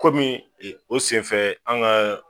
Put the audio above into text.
Kɔmi e o senfɛ an kaa.